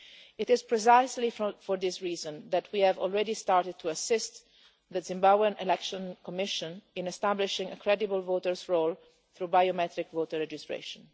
It is precisely for this reason that we have already started to assist the Zimbabwe Election Commission in establishing a credible electoral role through biometric voter registration.